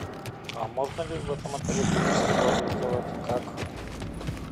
а можно ли в этом отеле торжество организовать как